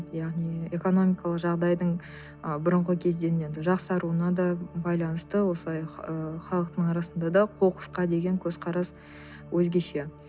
яғни экономикалық жағдайдың ы бұрынғы кезден енді жақсаруына да байланысты осылай ы халықтың арасында да қоқысқа деген көзқарас өзгеше